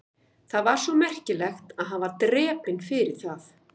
Það var svo merkilegt að hann var drepinn fyrir það?